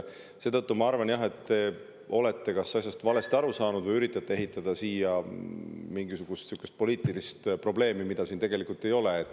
Seetõttu ma arvan, et te kas olete asjast valesti aru saanud või üritate ehitada mingisugust sellist poliitilist probleemi, mida tegelikult ei ole.